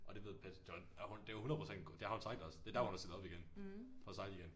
Og det ved Petsch godt og det 100% det har hun sagt også det derfor hun har stillet op igen for at sejle igen